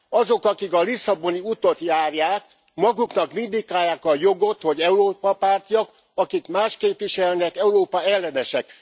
Azok, akik a lisszaboni utat járják, maguknak vindikálják a jogot, hogy Európa pártiak, akik mást képviselnek Európa ellenesek.